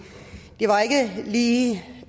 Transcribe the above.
lige de